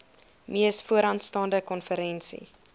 mees vooraanstaande konferensie